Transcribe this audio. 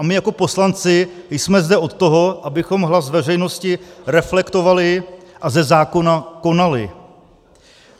A my jako poslanci jsme zde od toho, abychom hlas veřejnosti reflektovali a ze zákona konali.